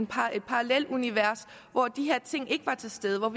parallelt univers hvor de her ting ikke var til stede og